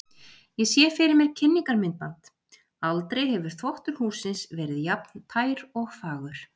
Ég sé fyrir mér kynningarmyndband: aldrei hefur þvottur hússins verið jafn tær og fagur.